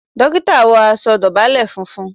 Dókítà wọ aṣọ dábọlẹ fúnfún